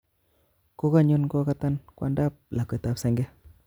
Kokanyon kokatan kwondap lakwet ab senge